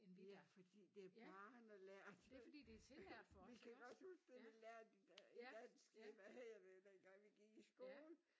Ja fordi det er barnelært vi kan godt huske det vi lærte i i dansk hvad hedder det dengang vi gik i skole